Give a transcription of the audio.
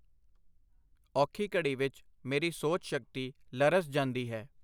ਔਖੀ ਘੜੀ ਵਿਚ ਮੇਰੀ ਸੋਚ-ਸ਼ਕਤੀ ਲਰਜ਼ ਜਾਂਦੀ ਹੈ.